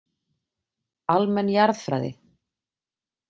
Almenn jarðfræði.